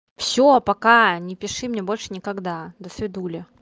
всё пока не пиши мне больше никогда до свидания